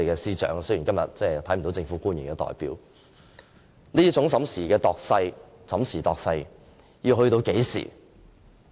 我真想問一問司長，雖然今天沒有政府官員出席，這種審時度勢的做法要到何時？